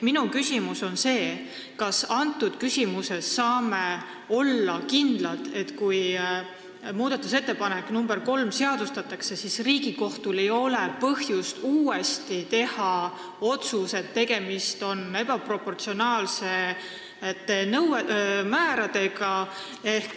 Minu küsimus on see: kas me saame olla kindlad, et kui muudatusettepanekus nr 3 toodu seadustatakse, siis Riigikohtul ei ole põhjust teha otsust, et tegemist on ebaproportsionaalsete määradega?